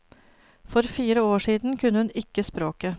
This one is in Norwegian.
For fire år siden kunne hun ikke språket.